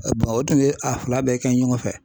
u tun ye a fila bɛɛ kɛ ɲɔgɔn fɛ.